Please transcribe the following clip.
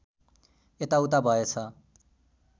यता उता भएछ